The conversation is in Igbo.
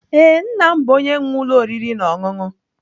Ee, nna m bụ onye nwe ụlọ oriri na ọṅụṅụ.